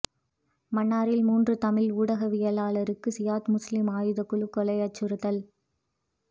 மன்னாரில் மூன்று தமிழ் ஊடகவியலாளர்களுக்கு சியாத் முஸ்லீம் ஆயுதக்குழு கொலை அச்சுறுத்தல்